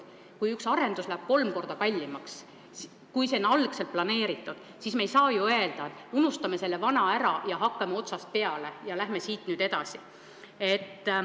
Kui üks arendus läheb kolm korda kallimaks, kui algselt plaanitud, siis me ei saa ometi öelda, et unustame selle vana ära, hakkame otsast peale ja lähme siit nüüd edasi.